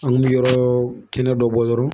An kun bɛ yɔrɔ kɛnɛ dɔ bɔ yɔrɔ